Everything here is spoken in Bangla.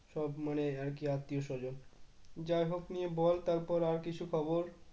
সব মানে আর কি আত্মীয়-স্বজন যাইহোক নিয়ে বল তারপর আর কিছু খবর?